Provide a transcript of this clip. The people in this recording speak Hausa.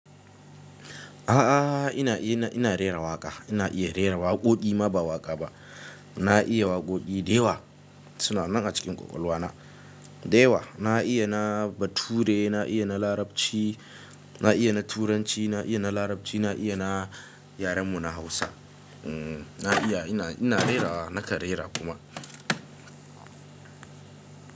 A'a, ina ina ina rera waƙa. Ina iya rera waƙoƙi ma ba waƙa ba. Na iya waƙoƙi da yawa. Suna nan a cikin ƙwaƙwalwa na. Da yawa na iya na bature, na iya na larabci, na iya na turanci, na iya na larabci, na iya na yaren mu na Hausa. Mm, na iya ina ina rera nakan rera kuma.